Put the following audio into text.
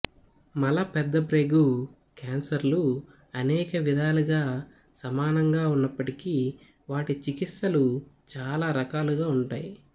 మల పెద్దప్రేగు క్యాన్సర్లు అనేక విధాలుగా సమానంగా ఉన్నప్పటికీ వాటి చికిత్సలు చాలా రకాలుగా ఉంటాయి